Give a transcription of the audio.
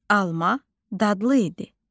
Alma dadlı idi.